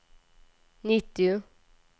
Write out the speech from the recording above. nittio